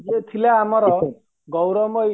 ଇଏ ଥିଲା ଆମର ଗୌରବ ମୟ